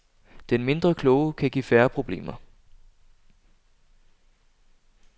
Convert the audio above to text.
Den mindre kloge kan give færre problemer.